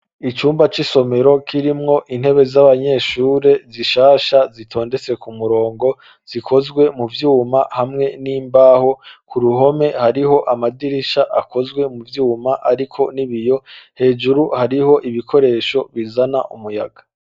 Icumba c'isomero kirimwo intebe z'abanyeshure zishasha zitondetse ku murongo zikozwe mu vyuma hamwe n'imbaho, ku ruhome hariho amadirisha akozwe mu vyuma ariko n'ibiyo hejuru hariho ibikoresho bizana umuyaga.